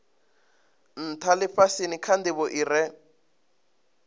ntha lifhasini kha ndivho ire